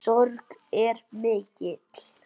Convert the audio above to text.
Sorg ykkar er mikil.